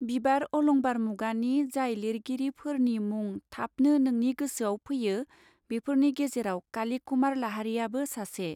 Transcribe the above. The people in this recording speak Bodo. बिबार अलंबार मुगानि जाय लिरगिरी फर्नी मुंग थाबनो नोंनि गोसोआव फैयो बेफोरनि गेजेराव काली कुमार लाहारीयाबो सासे.